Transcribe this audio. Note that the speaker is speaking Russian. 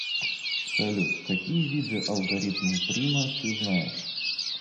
салют какие виды алгоритм прима ты знаешь